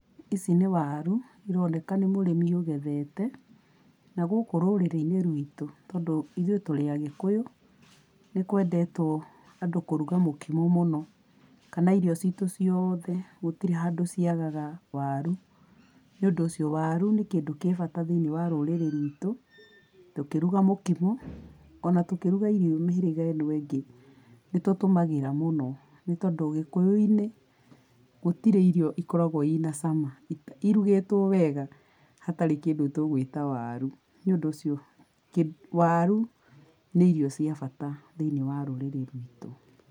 Ici nĩ waru, cironeka nĩ mũrĩmi ũgethete. Na gũkũ rũrĩrĩ-inĩ ruitũ, tondũ ithũĩ tũrĩ agĩkũyũ, nĩ kwendetwo andũ kũruga mũkimo mũno, kana irio citũ ciothe gũtirĩ handũ ciagaga waru. Nĩ ũndũ ũcio waru nĩ kĩndũ kĩbata rũrĩrĩ-inĩ rwitũ, tũkĩruga mũkimo, ona tũkĩruga mĩhĩrĩga ĩno ĩngĩ, nĩ tũtũmagĩra mũno tondũ gĩkũyũ-inĩ, gũtirĩ irio ikoragwo ina cama irugĩtwo wega hatarĩ kĩndũ tũgũĩta waru. Nĩ ũndũ ũcio waru, nĩ irio cia bata thĩinĩ wa rũrĩrĩ rwitũ.